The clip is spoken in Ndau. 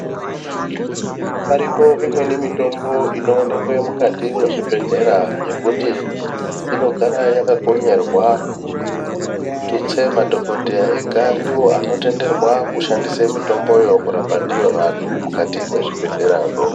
Paripo imweni mitombo inoonekwe mukati mwezvibhedhlera yekuti inogara yakakonyerwa tutse madhokodheya ega ndiwo anotenderwa kushandise mitomboyo kurapa ndiyo vantu mukati mwezvibhedhlerazvo.